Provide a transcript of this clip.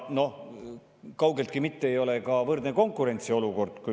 Kaugeltki mitte ei ole ka võrdne konkurentsiolukord.